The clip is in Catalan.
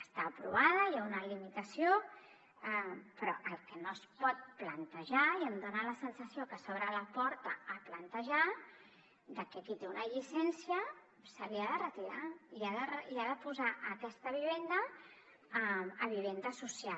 està aprovada hi ha una limitació però el que no es pot plantejar i em dona la sensació que s’obre la porta a plantejar és que qui té una llicència se li ha de retirar i ha de posar aquesta vivenda a vivenda social